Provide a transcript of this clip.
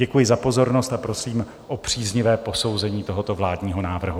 Děkuji za pozornost a prosím o příznivé posouzení tohoto vládního návrhu.